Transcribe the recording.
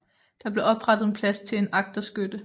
Der blev oprettet en plads til en agterskytte